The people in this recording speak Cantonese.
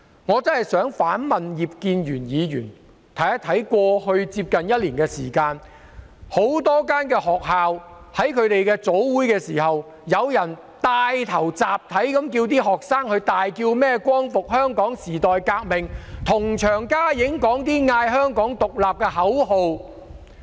我想反問葉建源議員，在過去接近一年的時間，很多學校在早會時，有人帶領學生集體大喊"光復香港時代革命"，又高呼"香港獨立"的口號。